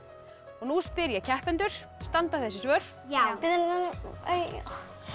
nú spyr ég keppendur standa þessi svör já